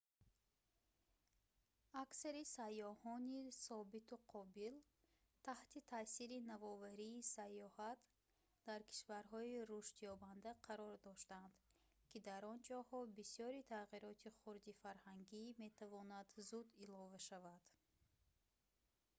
аксари сайёҳони собиту қобил таҳти таъсири навоварии сайёҳат дар кишварҳои рушдёбанда қарор доштанд ки дар он ҷоҳо бисёри тағйироти хурди фарҳангӣ метавонад зуд илова шавад